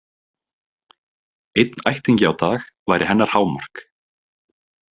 Einn ættingi á dag væri hennar hámark.